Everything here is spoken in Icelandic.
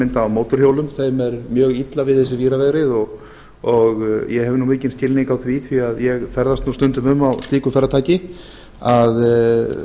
mynda á mótorhjólum þeim er mjög illa við þessi víravegrið og ég hef nú mikinn skilning á því vegna þess að ég ferðast nú stundum um á slíku farartæki að